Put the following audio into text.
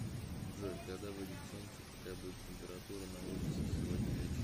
джой когда выйдет солнце какая будет температура на улице сегодня вечером